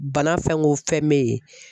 Bana fɛn o fɛn bɛ yen